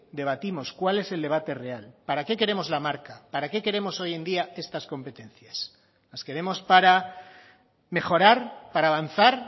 debatimos cuál es el debate real para qué queremos la marca para qué queremos hoy en día estas competencias las queremos para mejorar para avanzar